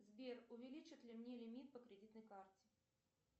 сбер увеличат ли мне лимит по кредитной карте